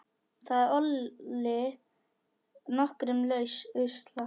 Það olli nokkrum usla.